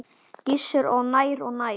Gissur: Og nær og nær?